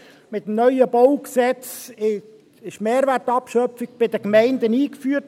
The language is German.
Mit dem neuen Baugesetz (BauG) wurde die Mehrwertabschöpfung bei den Gemeinden eingeführt.